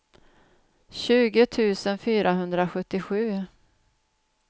tjugo tusen fyrahundrasjuttiosju